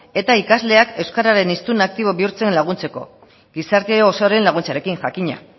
eta ikasleak euskararen hiztun aktibo izaten bihurtzen laguntzeko gizarte osoaren laguntzarekin jakina